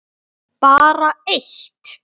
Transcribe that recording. Bara eitt